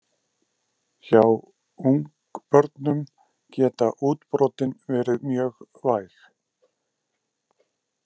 Hjá ungbörnum geta útbrotin verið mjög væg.